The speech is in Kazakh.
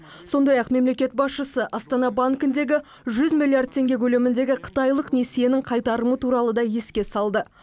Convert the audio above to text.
сондай ақ мемлекет басшысы астана банкіндегі жүз миллиард теңге көлеміндегі қытайлық несиенің қайтарымы туралы да еске салды